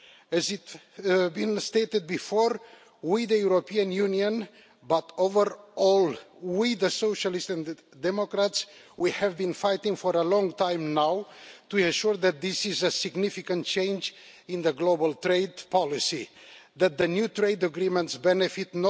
As has been stated before, we the European Union but overall we, the Socialists and Democrats have been fighting for a long time now to ensure that this is a significant change in global trade policy and that the new trade agreements benefit